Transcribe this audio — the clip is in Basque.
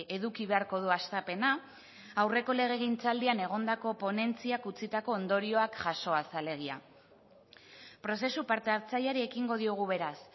eduki beharko du hastapena aurreko legegintzaldian egondako ponentziak utzitako ondorioak jasoaz alegia prozesu parte hartzaileari ekingo diogu beraz